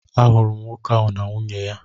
Ahụrụ m nwoke ahụ na nwunye ya.